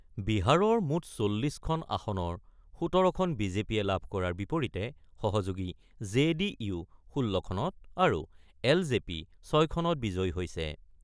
বিহাৰৰ মুঠ ৪০খন আসনৰ ১৭খন বি জে পিয়ে লাভ কৰাৰ বিপৰীতে সহযোগী জে ডি ইউ ১৬খনত আৰু এল জে পি ৬খনত বিজয়ী হৈছে।